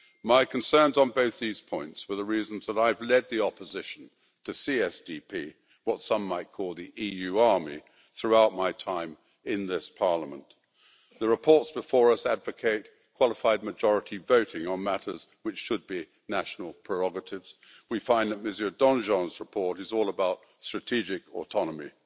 My concerns on both these points were the reason that I have led the opposition to CSDP what some might call the EU army throughout my time in this Parliament. The reports before us advocate qualified majority voting on matters which should be national prerogatives. We find that Mr Danjean's report is all about strategic autonomy'.